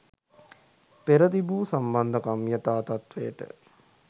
පෙර තිබූ සම්බන්ධකම් යථා තත්වයට